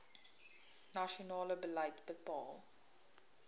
nasionale beleid bepaal